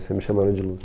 Sempre me chamaram de Lu.